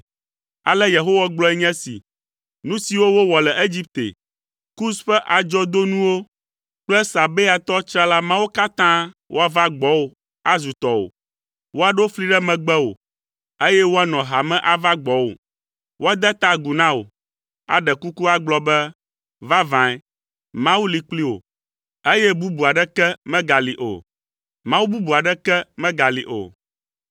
Ale Yehowa gblɔe nye esi, “Nu siwo wowɔ le Egipte, Kus ƒe adzɔdonuwo kple Sabeatɔ tsrala mawo katã woava gbɔwò azu tɔwò. Woaɖo fli ɖe megbewò, eye woanɔ hame ava gbɔwò. Woade ta agu na wò, aɖe kuku agblɔ be ‘Vavãe, Mawu li kpli wò, eye bubu aɖeke megali o. Mawu bubu aɖeke megali o.’ ”